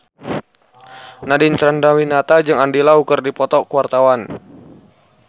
Nadine Chandrawinata jeung Andy Lau keur dipoto ku wartawan